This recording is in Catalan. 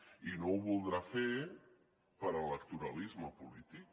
i no ho voldrà fer per electoralisme polític